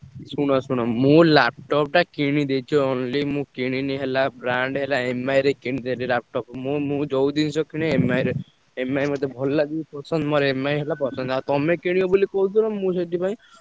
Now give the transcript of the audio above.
ଶୁଣ ଶୁଣ ମୁଁ laptop ଟା କିଣିଦେଇଛି already ମୁଁ କିଣିନି ହେଲା brand ହେଲା MI ରେ କିଣିଦେଲି laptop ମୁଁ ମୁଁ ଯୋଉ ଜିନିଷ କିଣେ MI ରେ। MI ମତେ ଭଲ ଲାଗେ ପସନ୍ଦ ମୋର MI ହେଲା ପସନ୍ଦ। ଆଉ ତମେ କିଣିବ ବୋଲି କହୁଥିଲ ମୁଁ ସେଥିପାଇଁ।